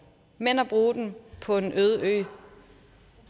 men at bruge dem på en øde ø